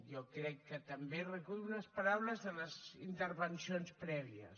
jo crec que també recullo les paraules de les intervencions prèvies